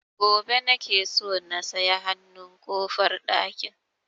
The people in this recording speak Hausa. Gobe nake so na saya hanun ƙofar ɗakin